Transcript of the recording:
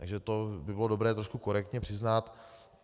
Takže to bylo by dobré trošku korektně přiznat.